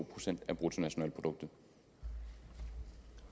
procent af bruttonationalproduktet